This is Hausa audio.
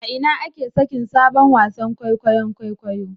A ina ake sakin sabon wasan kwaikwayon kwaikwayo